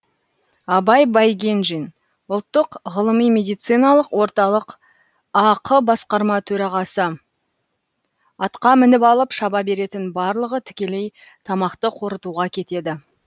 абай байгенжин ұлттық ғылыми медициналық орталық ақ басқарма төрағасы атқа мініп алып шаба беретін барлығы тікелей тамақты қорытуға кетеді